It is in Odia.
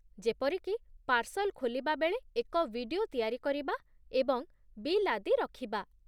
ଯେପରିକି ପାର୍ସଲ୍ ଖୋଲିବା ବେଳେ ଏକ ଭିଡିଓ ତିଆରି କରିବା ଏବଂ ବିଲ୍ ଆଦି ରଖିବା ।